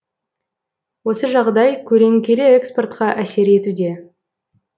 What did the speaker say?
осы жағдай көлеңкелі экспортқа әсер етуде